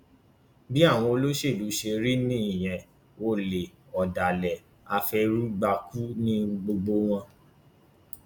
bí àwọn olóṣèlú ṣe rí nìyẹn olè ọdàlẹ afẹrúgbàkun ni gbogbo wọn